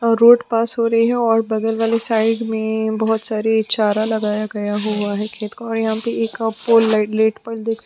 road पास हो रही है और बगल वाली साइड में बहोत सारी चारा लगाया गया हुआ है खेत और यहाँ पे एक का पोल लाइट लेट पर देख सकते --